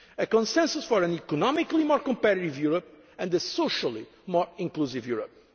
to achieve this. A consensus for an economically more competitive Europe and a socially more